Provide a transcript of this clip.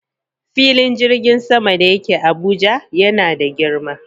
Filin jirgin sama da yake Abuja yana da girma.